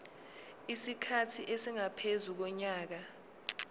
isikhathi esingaphezu konyaka